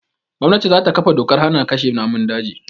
Gwannati za ta ƙafa dokar hana kashe namun daji